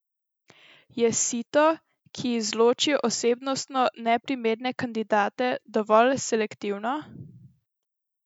Je sito, ki izloči osebnostno neprimerne kandidate, dovolj selektivno?